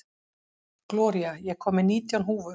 Gloría, ég kom með nítján húfur!